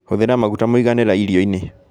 Hũthĩra maguta mũiganĩra irio-inĩ